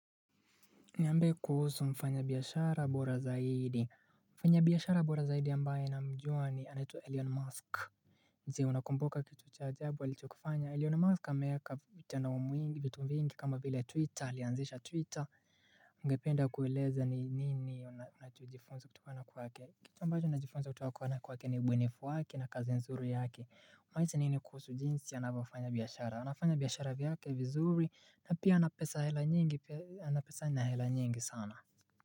Niambie kuhusu mfanyabiashara bora zaidi. Mfanyabiashara bora zaidi ambaye namjua anaitwa Elon Musk. Si unakumbuka kitu cha ajabu alichokifanya Elon Musk ameeka vitu vingi kama vile 'Twitter' alianzisha 'Twitter'. Ungependa kueleza ni nini unajifunza kutokana kwake. Kitu ambacho najifunza kutokana kwake ni ubunifu wake na kazi nzuri yake. Unahisi nini kuhusu jinsi anavyofanya biashara? Anafanya biashara yake vizuri. Na pia ana pesa hela nyingi, ana hela sana.